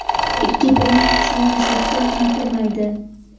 Ikki brend kuchli yuzlikka ham kirmaydi.